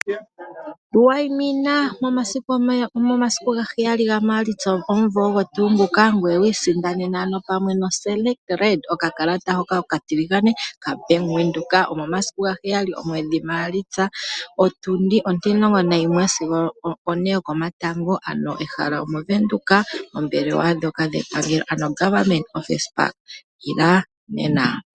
Tu waimina momasiku gaheyali ga Maalitsa ogomumvo ogo tuu nguka ngoye wiisindanene ano pamwe no selekt red, okakalata hoka okatiligane ka Bank Windoek, omomasiku gaheyali omwedhi Maalitsa, otundi ontimulongo nayimwe sigo one yokomatango ano ehala omovenduka poombelewa dhoka dhepangelo ano goverment office park. Ila nena.